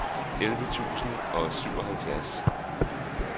elleve tusind og syvoghalvfjerds